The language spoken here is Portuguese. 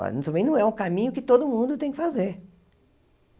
Também não é um caminho que todo mundo tem que fazer.